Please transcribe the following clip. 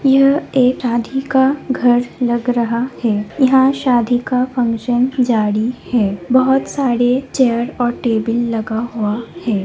यह एक शादी का घर लग रहा है यहाँ शादी का फंक्शन जारी है बहुत सारे चेयर और टेबल लगा हुआ है।